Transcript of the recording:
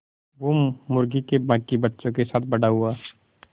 वो मुर्गी के बांकी बच्चों के साथ बड़ा हुआ